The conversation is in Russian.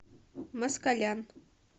москалян